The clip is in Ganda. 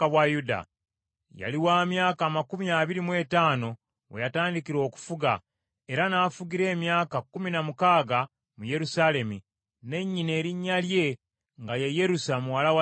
Yali wa myaka amakumi abiri mu etaano we yatandikira okufuga, era n’afugira emyaka kkumi na mukaaga mu Yerusaalemi, ne nnyina erinnya lye nga ye Yerusa muwala wa Zadooki.